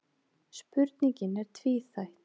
Spurningin er tvíþætt.